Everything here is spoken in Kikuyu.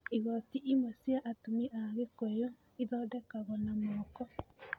Igooti imwe cia atumia a Kikuyu ithondekagwo na moko.